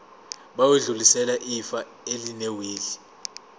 bayodlulisela ifa elinewili